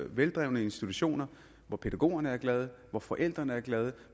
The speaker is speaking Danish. veldrevne institutioner hvor pædagogerne er glade hvor forældrene er glade og